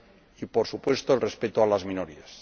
y, por supuesto, el respeto a las minorías.